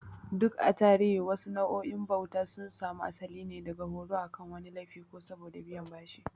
Duk a tarihi, wasu nau'o'in bauta sun samu asali ne daga horo akan wani laifi ko saboda biyan bashi.